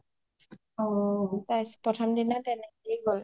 প্ৰথম দিনা তেনেকেই গ’ল